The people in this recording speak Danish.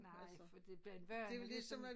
Nej for det bliver en vane ligesom